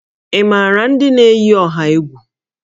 Ị maara ndị na-eyi ọha egwu?